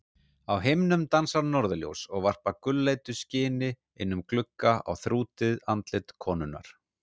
Á himnum dansa norðurljós og varpa gulleitu skini inn um glugga á þrútið andlit konunnar.